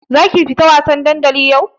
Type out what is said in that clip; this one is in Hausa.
Zaki fita wasan dandali yau?